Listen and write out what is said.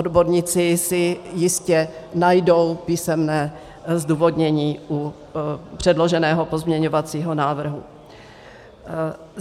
Odborníci si jistě najdou písemné zdůvodnění u předloženého pozměňovacího návrhu.